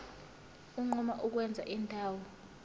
unquma ukwenza indawo